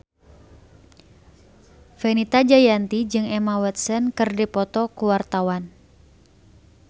Fenita Jayanti jeung Emma Watson keur dipoto ku wartawan